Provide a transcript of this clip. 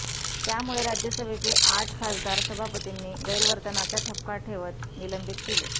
त्यामुळे राज्यसभेचे आठ खासदार सभापतींनी गैरवर्तनाचा ठपका ठेवत निलंबित केले